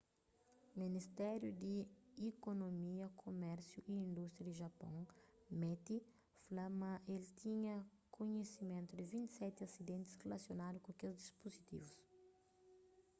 ministériu di ikunomia kumérsiu y indústria di japôn meti fla ma el tinha kunhisimentu di 27 asidentis rilasionadu ku kes dispuzitivus